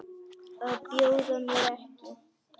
Að bjóða mér ekki.